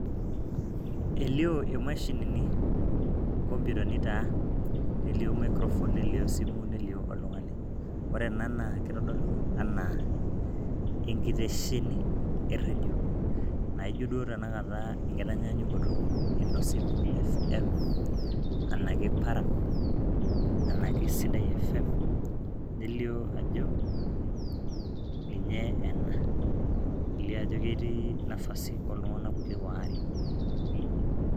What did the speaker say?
elio imashinini, iinkoputani taa nelio microphone nelio esimu nelio oltung'ani, ore ena naa keitodolu enaa enkitesheni ee redio. naijo duo taata enkitanyaanyukoto ee nosim fm anake paran enake sidai fm nelio ajo ninye ena. nelio ajo ketii nafasi oo iltung'anak kulie waare.